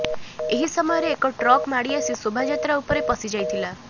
ଏହି ସମୟରେ ଏକ ଟ୍ରକ୍ ମାଡି ଆସି ଶୋଭାଯାତ୍ରା ଉପରେ ପଶିଯାଇଥିଲା